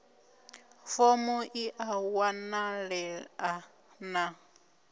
fomo i a wanalea na